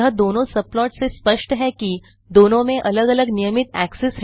यह दोनों सबप्लॉट से स्पष्ट है कि दोनों में अलग अलग नियमित एक्सेस हैं